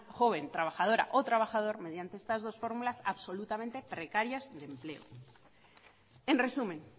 joven trabajadora o trabajador mediante estas dos fórmulas absolutamente precarias de empleo en resumen